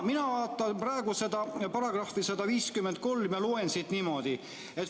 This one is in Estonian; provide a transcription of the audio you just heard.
Mina vaatan praegu § 153 ja loen siit niimoodi: "...